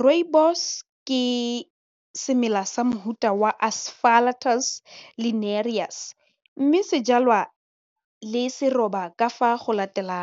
Rooibos ke semela sa mofuta wa aspalathus linearis mme se jalwa le seroba ka fa go latela,